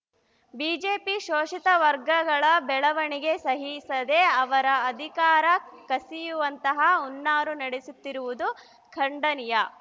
BJP ಶೋಷಿತ ವರ್ಗಗಳ ಬೆಳವಣಿಗೆ ಸಹಿಸದೆ ಅವರ ಅಧಿಕಾರ ಕಸಿಯುವಂತಹ ಹುನ್ನಾರ ನಡೆಸುತ್ತಿರುವುದು ಖಂಡನೀಯ